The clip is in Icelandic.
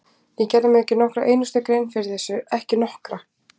Ég gerði mér ekki nokkra einustu grein fyrir þessu, ekki nokkra!